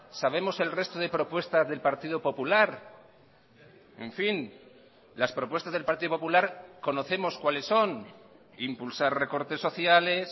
sabemos el resto de propuestas del partido popular en fin las propuestas del partido popular conocemos cuáles son impulsar recortes sociales